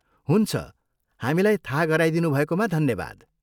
हुन्छ, हामीलाई थाहा गराइदिनु भएकोमा धन्यवाद।